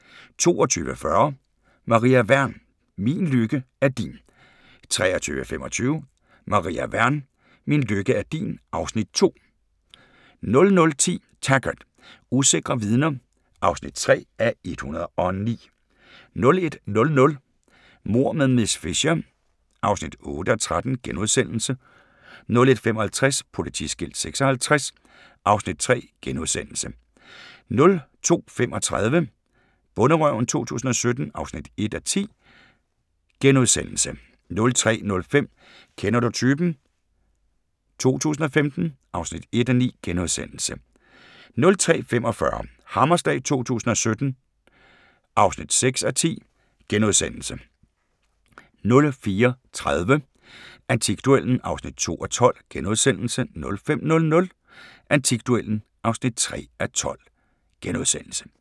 22:40: Maria Wern: Min lykke er din 23:25: Maria Wern: Min lykke er din (Afs. 2) 00:10: Taggart: Usikre vidner (3:109) 01:00: Mord med miss Fisher (8:13)* 01:55: Politiskilt 56 (Afs. 3)* 02:35: Bonderøven 2017 (1:10)* 03:05: Kender du typen? 2015 (1:9)* 03:45: Hammerslag 2017 (6:10)* 04:30: Antikduellen (2:12)* 05:00: Antikduellen (3:12)*